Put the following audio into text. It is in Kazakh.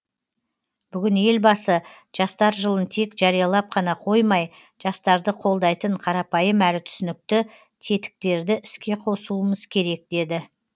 бүгін елбасы жастар жылын тек жариялап қана қоймай жастарды қолдайтын қарапайым әрі түсінікті тетіктерді іске қосуымыз керек деді